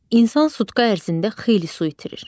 İnsan sutka ərzində xeyli su itirir.